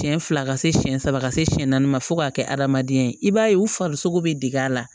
Siɲɛ fila ka se siɲɛ saba ka se siyɛn naani ma fo k'a kɛ adamadenya ye i b'a ye u farisogo bɛ deg'a la